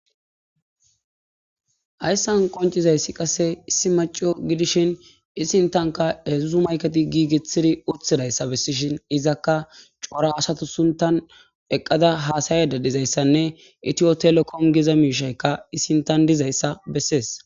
hayssan qoncizayssi qasse issi maca gidishin i sinthanka hedzuzu mayketi giigittidi utidayssa bessishin izakka coora asata sinththan eqqada haasayada dizayssanne itiyotelekome giza miishaykka i sinttthan dizayssa bessees